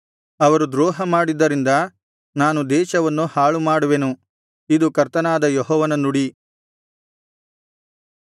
ಅವರು ದ್ರೋಹ ಮಾಡಿದ್ದರಿಂದ ನಾನು ದೇಶವನ್ನು ಹಾಳುಮಾಡುವೆನು ಇದು ಕರ್ತನಾದ ಯೆಹೋವನ ನುಡಿ